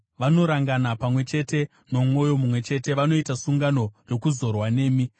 Vanorangana pamwe chete nomwoyo mumwe chete; vanoita sungano yokuzorwa nemi,